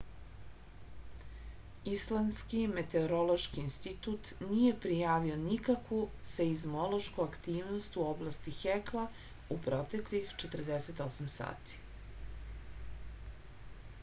islandski meteorološki institut nije prijavio nikakvu seizmološku aktivnost u oblasti hekla u proteklih 48 sati